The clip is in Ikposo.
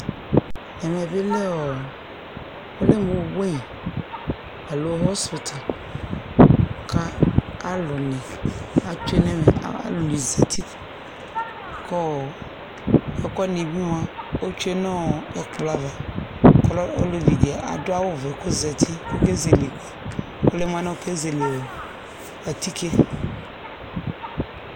ɛmɛ bi lɛ ɔ ɔlɛ mo weyi alo hɔspito k'alò ni atsue n'ɛmɛ alò ni zati kɔ ɛkò wani bi moa otsue n'ɛkplɔ ava k'ɔlɛ olevi di adu awu vɛ k'ozati k'oke zele ɛkò yɛ ɔlɛ mo anɛ oke zele atike